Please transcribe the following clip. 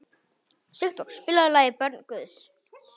Sigdór, spilaðu lagið „Börn Guðs“.